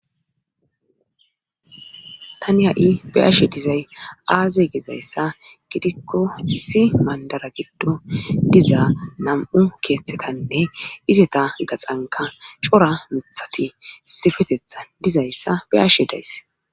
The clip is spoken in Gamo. tani ha'i be'ashe dizay aaze gezayssa gidikko si mandara giddo diza nam'u keeththetanne izeta gaxanka cora mithati sifetetha dizayssa be'ashe days